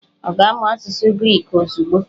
Ọ ga-amụ asụsụ Griki ozugbo?